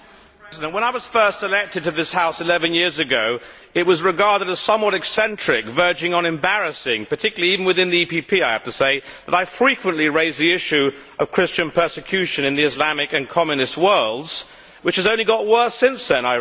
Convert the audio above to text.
Mr President, when I was first elected to this House eleven years ago, it was regarded as somewhat eccentric, verging on embarrassing particularly even within the EPP I have to say that I frequently raised the issue of Christian persecution in the Islamic and Communist worlds, which I regret has only got worse since then.